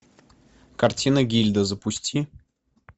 картина гильда запусти